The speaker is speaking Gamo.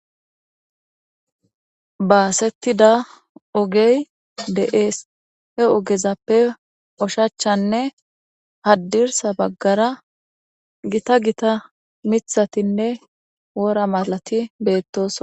Basetida ogey de'es , he ogezappe oshichanne hadirsa bagara gitta gitta mithatinne wora malat betesona.